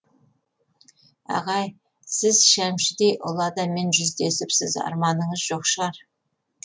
ағай сіз шәмшідей ұлы адаммен жүздесіпсіз арманыңыз жоқ шығар